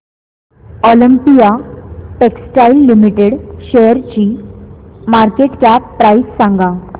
Olympia Textiles Limited शेअरची market cap price सांगा